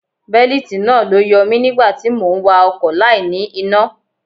Bélítì náà ló yọ mi nígbà tí mò ń wa ọkọ̀ láì ní iná.